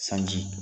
Sanji